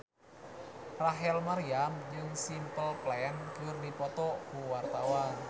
Rachel Maryam jeung Simple Plan keur dipoto ku wartawan